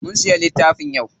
Mun siya littafin yau.